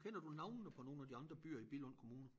Kender du navnene på nogle af de andre byer i Billund Kommune?